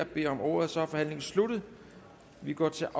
beder om ordet og så er forhandlingen sluttet og vi går til